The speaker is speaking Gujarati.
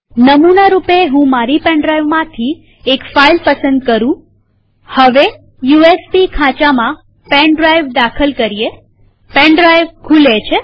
નમુના રૂપે હું મારી પેન ડ્રાઈવમાંથી એક ફાઈલ પસંદ કરુંહું હવે યુએસબી ખાંચામાં પેન ડ્રાઈવ દાખલ કરીએ પેન ડ્રાઈવ ખુલે છે